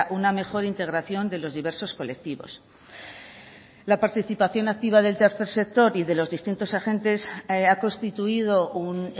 una mejor integración de los diversos colectivos la participación activa del tercer sector y de los distintos agentes ha constituido un